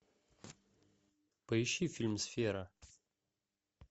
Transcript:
поищи фильм сфера